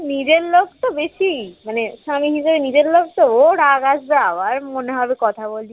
নিজের লোক তো বেশি মানে স্বামী নিজের নিজের লোক তো ও রাগ আসবে আবার মনে হবে কথা বলি